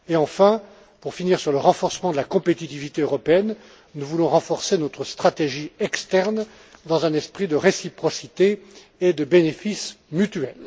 Et enfin, pour finir sur le renforcement de la compétitivité européenne, nous voulons renforcer notre stratégie externe dans un esprit de réciprocité et de bénéfice mutuel.